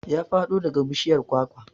Ya faɗo daga bishiyar kwakwa